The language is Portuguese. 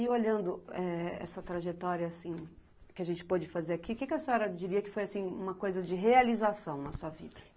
E, olhando essa trajetória, assim, que a gente pôde fazer aqui, o que a senhora diria que foi, assim, uma coisa de realização na sua vida?